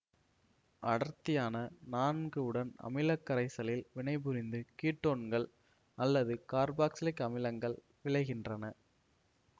அடர்த்தியான நான்கு உடன் அமிலக்கரைசலில் வினைபுரிந்து கீட்டோன்கள் அல்லது கார்பாக்சிலிக் அமிலங்கள் விளைகின்றன